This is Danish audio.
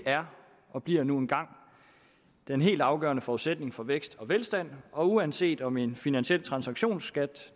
er og bliver nu engang den helt afgørende forudsætning for vækst og velstand og uanset om en finansiel transaktionsskat